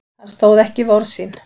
Hann stóð ekki við orð sín.